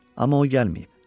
Amma o gəlməyib.